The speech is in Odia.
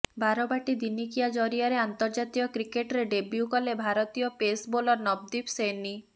ବାରବାଟୀ ଦିନିକିଆ ଜରିଆରେ ଅନ୍ତର୍ଜାତୀୟ କ୍ରିକେଟରେ ଡେବ୍ୟୁ କଲେ ଭାରତୀୟ ପେସ୍ ବୋଲର ନବଦୀପ ସୈନୀ